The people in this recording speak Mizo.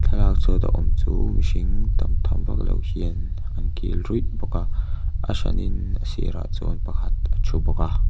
thlalak chhuat a awm chu mihring tamtham vaklo hian an kil ruih bawk a a hran in a sirah chuan pakhat a thu bawk a.